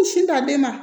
U sin ta den ma